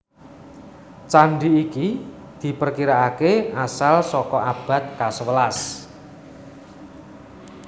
Candi iki diperkiraaké asal sakaabad kasewelas